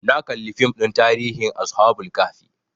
Na kalli fim ɗin tarihin ashabul kahfi